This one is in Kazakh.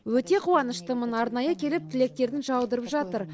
өте қуаныштымын арнайы келіп тілектерін жаудырып жатыр